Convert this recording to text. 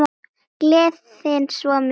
Gleðin svo mikil.